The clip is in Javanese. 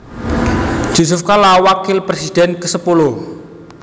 Jusuf Kalla Wakil Presiden kesepuluh